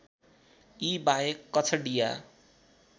यी बाहेक कछडिया